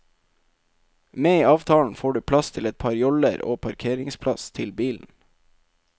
Med i avtalen får du plass til et par joller og parkeringsplass til bilen.